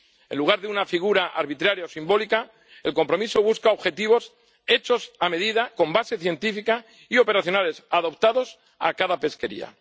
En lugar de una figura arbitraria o simbólica, el compromiso busca objetivos hechos a medida, con base científica y operacionales, adaptados a cada pesquería.